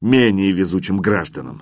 менее везучим гражданам